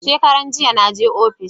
Shekaran jiya na je ofis